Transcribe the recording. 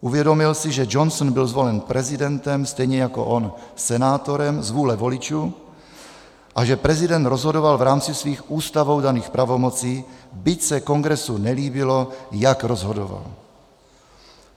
Uvědomil si, že Johnson byl zvolen prezidentem stejně jako on senátorem z vůle voličů a že prezident rozhodoval v rámci svých ústavou daných pravomocí, byť se Kongresu nelíbilo, jak rozhodoval.